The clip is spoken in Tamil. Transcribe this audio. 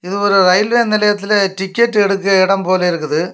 இது ஒரு இரயில்வே நிலையத்துல டிக்கெட் எடுக்குற எடம் போல இருக்குது.